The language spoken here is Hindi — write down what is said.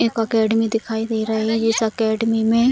एक अकादमी दिखाई दे रही है इस अकादमी में --